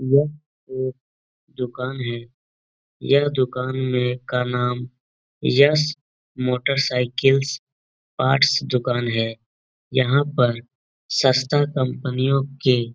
यह एक दुकान है। यह दुकान में का नाम यश मोटरसाइकिल्स पार्ट्स दुकान है। यहाँ पर सस्ता कंपनियों के --